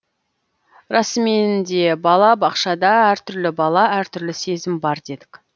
расыменде бала бақшада әр түрлі бала әр түрлі сезім бар дедік